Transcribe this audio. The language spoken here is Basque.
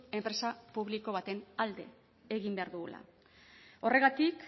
enpresa publiko baten alde egin behar dugula horregatik